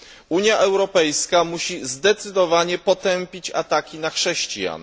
Unia Europejska musi zdecydowanie potępić ataki na chrześcijan.